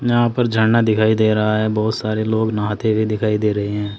यहां पर झरना दिखाई दे रहा है बहुत सारे लोग नहाते हुए दिखाई दे रहे हैं।